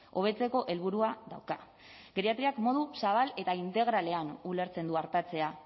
hobetzeko helburua dauka geriatriak modu zabal eta integralean ulertzen du artatzea